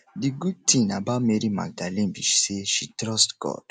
the good thing about mary magdalene be say she trust god